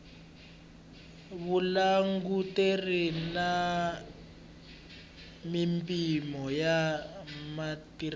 vulanguteri na mimpimo ya matirhelo